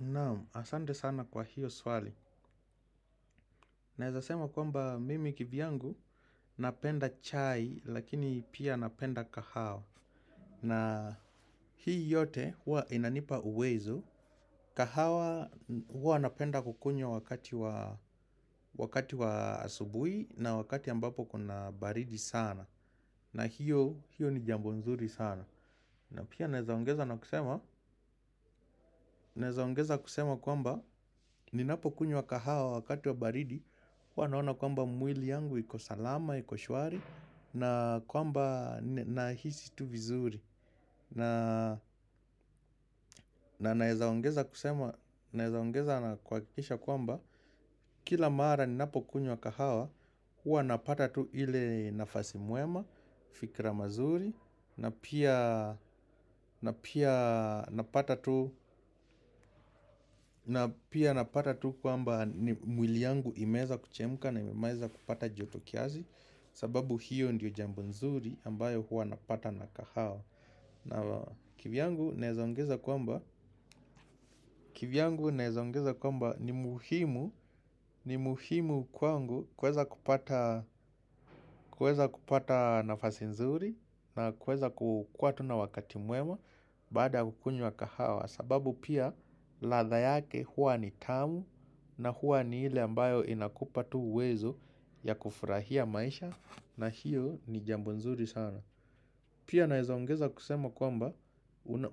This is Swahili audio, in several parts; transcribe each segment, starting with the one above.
Naam, asante sana kwa hiyo swali. Naeza sema kwamba mimi kivyangu napenda chai lakini pia napenda kahawa. Na hii yote hua inanipa uwezo. Kahawa hua napenda kukunywa wakati wa asubuhi na wakati ambapo kuna baridi sana. Na hiyo, hiyo ni jambo nzuri sana. Na pia naeza ongeza na kusema. Naeza ongeza kusema kwamba ninapo kunywa kahawa wakati wa baridi huwa naona kwamba mwili yangu iko salama, iko shwari. Na kwamba nahisi tu vizuri. Na naeza ongeza kusema. Naeza ongeza na kuhakikisha kwamba kila mara ni napokunywa kahawa huwa napata tu ile nafasi mwema. Fikra mazuri. Na pia napata tu na pia napata tu kwamba mwili yangu imeeza kuchemka na imeeza kupata joto kiasi sababu hiyo ndio jambo nzuri ambayo hua napata na kahawa na kivyangu naeza ongeza kwamba ni muhimu ni muhimu kwangu kuweza kupata nafasi nzuri na kuweza ku kuwa tu na wakati mwema baada ya kukunywa kahawa sababu pia ladha yake hua ni tamu na hua ni ile ambayo inakupa tu uwezo ya kufurahia maisha. Na hiyo ni jambo nzuri sana. Pia naeza ongeza kusema kwamba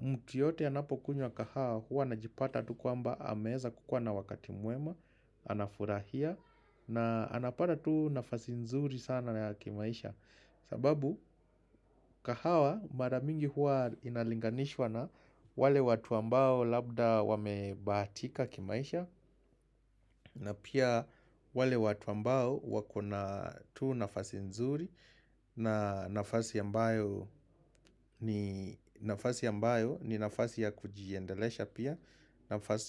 mtu yoyote ya anapokunywa kahawa hua anajipata tu kwamba ameeza kukua na wakati mwema. Anafurahia. Na anapata tu nafasi nzuri sana ya kimaisha. Sababu kahawa mara mingi hua inalinganishwa na wale watu ambao labda wamebahatika kimaisha. Na pia wale watu ambao wako na tu nafasi nzuri. Na nafasi ambayo nafasi ambayo ni nafasi ya kujiendelesha pia.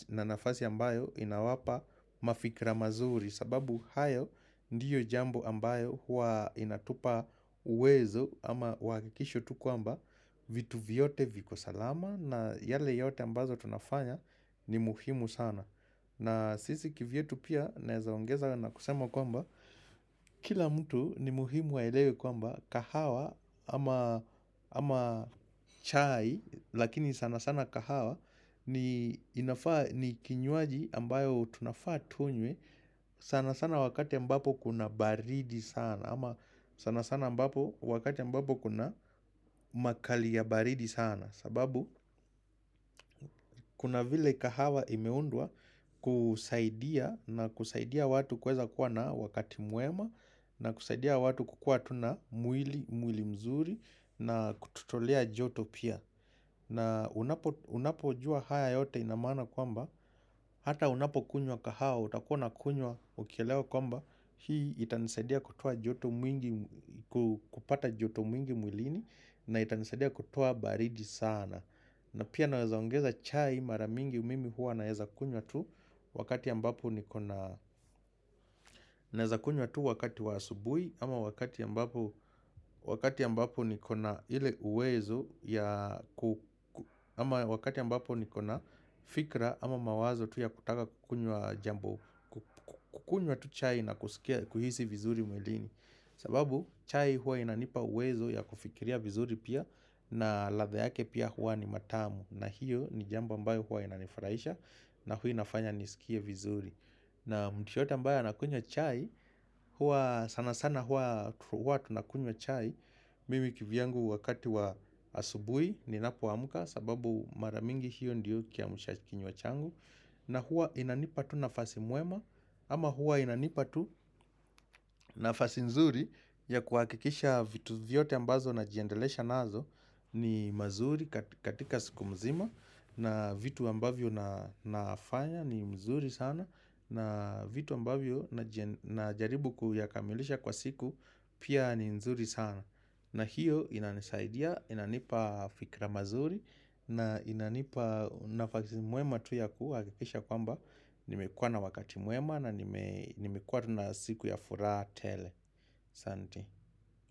Na nafasi ambayo inawapa mafikra mazuri. Sababu hayo ndiyo jambo ambayo huwa inatupa uwezo. Ama uhawakikisho tu kwamba vitu vyote viko salama. Na yale yote ambazo tunafanya ni muhimu sana. Na sisi kivyetu pia naeza ongeza na kusema kwamba kila mtu ni muhimu waelewe kwamba kahawa ama chai lakini sanasana kahawa ni ni kinywaji ambayo tunafaa tunywe sanasana wakati ambapo kuna baridi sana. Ama sanasana wakati ambapo kuna makali ya baridi sana. Sababu kuna vile kahawa imeundwa kusaidia na kusaidia watu kueza kuwa na wakati mwema. Na kusaidia watu kukua tu na mwili mwili mzuri na kututolea joto pia. Na unapo unapo jua haya yote inamaana kwamba hata unapo kunywa kahawa utakuwa na kunywa ukielewa kwamba hii itanisaidia kupata joto mwingi mwilini na itanisaidia kutoa baridi sana. Na pia naweza ongeza chai mara mingi mimi huwa naeza kunywa tu wakati ambapo niko na naweza kunywa tu wakati wa asubuhi ama wakati ambapo niko na ile uwezo ya fikra ama mawazo tu ya kutaka kukunywa tu chai na kuskia kuhisi vizuri mwilini. Sababu chai hua inanipa uwezo ya kufikiria vizuri pia. Na ladha yake pia hua ni mtamu. Na hiyo ni jambo ambayo hua inanifaraisha. Na hua inafanya nisikie vizuri. Na mtu yoyote ambayo anakunywa chai hua sanasana hua tunakunywa chai. Mimi kivyangu wakati wa asubuhi ninapo amka. Sababu mara mingi hiyo ndiyo kiamsha kinywa changu. Na hua inanipa tu nafasi mwema. Ama hua inanipa tu nafasi nzuri ya kuhakikisha vitu vyote ambazo najiendelesha nazo ni mazuri katika siku mzima na vitu ambavyo na na fanya ni mzuri sana na vitu ambavyo na jaribu kuyakamilisha kwa siku pia ni mzuri sana na hiyo inanisaidia, inanipa fikra mazuri na inanipa nafasi mwema tu ya kuhakikisha kwamba nimekuwa na wakati mwema na nime nimekua na siku ya fura tele asante.